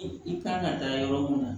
I kan ka taa yɔrɔ mun na